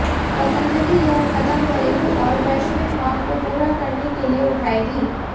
पतंजलि यह कदम घरेलू और वैश्विक मांग को पूरा करने के लिए उठाएगी